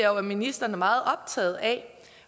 jo ministeren er meget optaget af